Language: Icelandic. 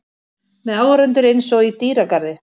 Með áhorfendur einsog í dýragarði.